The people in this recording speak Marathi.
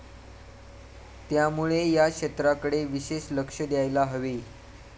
त्यामुळे या क्षेत्राकडे विशेष लक्ष द्यायला हवे.